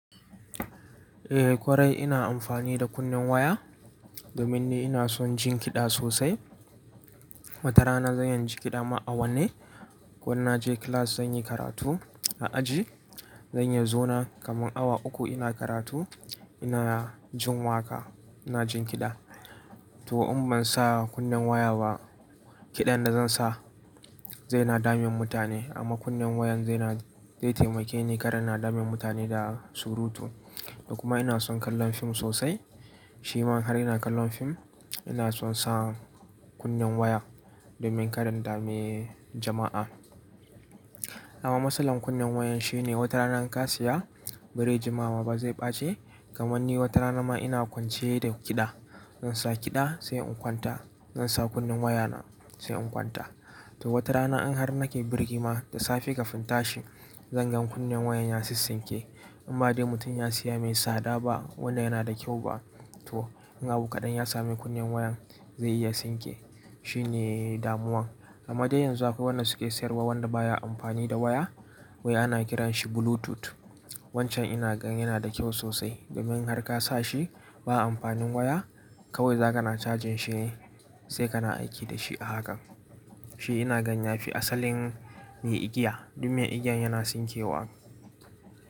Eh kwarai, ina amfani da kunnen waya, domin ni ina son jin kiɗa sosai. Watarana zan yi jin kiɗa ma awanne. Ko inba je class zan yi karatu a aji, zan iya zauna kaman awa uku ina karatu, ina jin waƙa, ina jin kiɗa. To in ban sa kunnen waya ba, kiɗan da zan sa zai na damun mutane, amma kunnen wayan zai na, zai taimake ni kar anna dami mutane da surutu. Da kuma ina son kallon fim sosai. Shi ma har ina kallon fim ina son sa kunnen waya, domin kara in dame jama'a. Amma matsalar kunnen wayan shine, watarana in ka siya, ba rai jima ma ba zai ɓace. Kamanni wata rana ma ina kwance da kiɗa, zan sa kiɗa sai in kwanta, zan sa kunnen waya na sai in kwanta. To watarana in har nake birgima da safe ka fi inta shi, zan gan kunnen wayan ya sissinke. In ba dai mutum ya siya mai tsada ba, wanda yana da kyau ba. To, in abu kaɗan ya sami kunnen wayan, zai iya sinke, shi ne damuwan. Amma dai yanzu akwai wannan suke sayarwa, wanda baya amfani da waya wai ana kiran shi Bluetooth. Wancan ina gan yana da kyau sosai, domin in har ka sa shi ba amfanin waya, kawai zaka na cajin shi ne, sai kana aiki da shi hakan. Shi ina gan ya fi asalin me igiya, don me igiyan yana sinkewa.